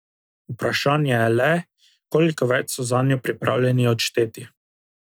Vprašanje je le, koliko več so zanjo pripravljeni odšteti.